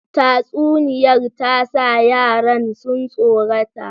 Tatsuniyar ta sa yaran su tsorata.